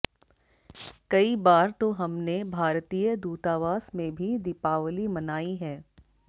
कई बार तो हमने भारतीय दूतावास में भी दीपावली मनाई है